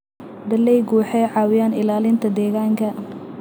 Dalagyadu waxay caawiyaan ilaalinta deegaanka.